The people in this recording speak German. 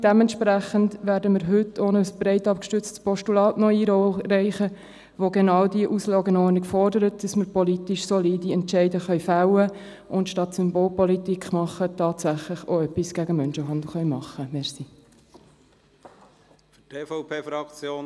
Entsprechend werden wir heute ein breit abgestütztes Postulat einreichen, welches genau diese Auslegeordnung fordert, damit wir politisch solide Entscheidungen fällen können und anstelle von Symbolpolitik auch tatsächlich etwas gegen Menschenhandel unternehmen können.